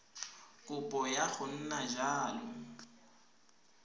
kopo ya go nna jalo